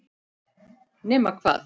Nema hvað?